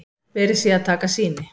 Verið sé að taka sýni